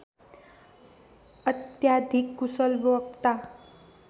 अत्याधिक कुशल वक्ता